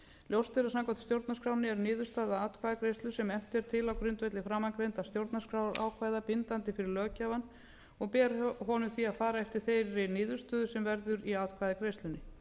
ljóst er að samkvæmt stjórnarskránni er niðurstaða atkvæðagreiðslu sem efnt er til á grundvelli framangreindra stjórnarskrárákvæða bindandi fyrir löggjafann og ber honum því að fara eftir þeirri niðurstöðu sem verður í atkvæðagreiðslunni